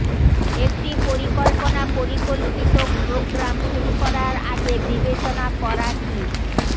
একটি পরিকল্পনা পরিকল্পিত প্রোগ্রাম শুরু করার আগে বিবেচনা করা কি